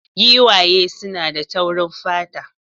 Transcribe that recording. Giwaye suna da taurin fata